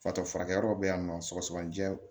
Fatɔ furakɛyɔrɔ bɛ yan nɔ sɔgɔsɔgɔninjɛ